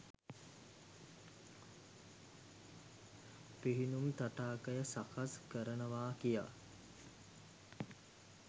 පිහිනුම් තටාකය සකස් කරනවා කියා